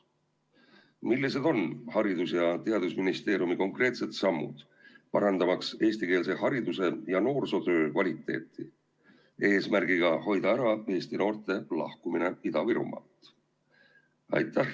Millised on Haridus- ja Teadusministeeriumi konkreetsed sammud, parandamaks eestikeelse hariduse ja noorsootöö kvaliteeti, et hoida ära eestikeelsete noorte lahkumist Ida-Virumaalt?